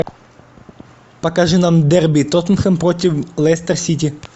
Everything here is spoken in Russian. покажи нам дерби тоттенхэм протв лестер сити